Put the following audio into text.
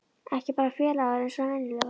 Ekki bara félagar eins og venjulega.